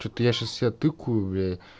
что-то я сейчас себя тыкаю бля